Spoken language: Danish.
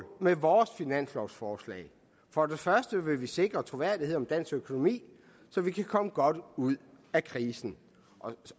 med vores finanslovsforslag for det første vil vi sikre troværdighed om dansk økonomi så vi kan komme godt ud af krisen